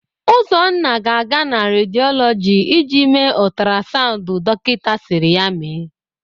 Ụzọnna ga-aga na rediolọgị ịje mee ọtrasaụnd dokịta sịrị ya mee.